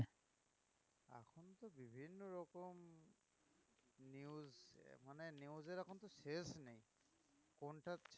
মানে news এর এখন তো শেষ নেই কোনটা ছেড়ে